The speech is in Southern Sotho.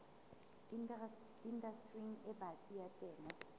indastering e batsi ya temo